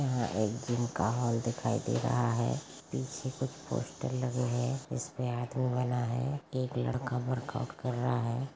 यहाँ एक जीम का हॉल दिख रहा है पीछे कुछ पोस्टर लग रही हैं इस पे आदमी बना है एक लड़का वर्कआउट कर रहा है।